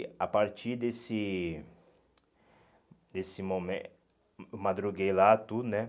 E a partir desse desse momen, eu madruguei lá tudo, né?